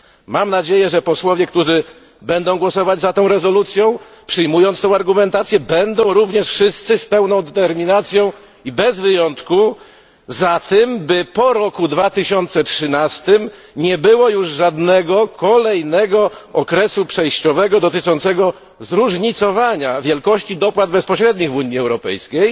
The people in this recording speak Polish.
Mam nadzieję, że posłowie, którzy będą głosować za tą rezolucją, przyjmując tę argumentację, będą również wszyscy z pełną determinacją i bez wyjątku za tym, by po roku 2013 nie było już żadnego kolejnego okresu przejściowego dotyczącego zróżnicowania wielkości dopłat bezpośrednich w Unii Europejskiej,